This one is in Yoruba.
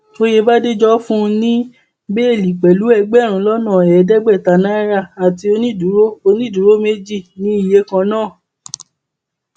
oyèbàdéjọ fún un ní bẹẹlí pẹlú ẹgbẹrún lọnà ẹẹdẹgbẹta náírà àti onídùúró onídùúró méjì ní iye kan náà